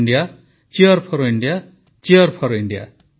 Cheer4India Cheer4India Cheer4India